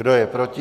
Kdo je proti?